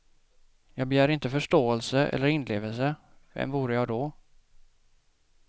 Jag begär inte förståelse eller inlevelse, vem vore jag då.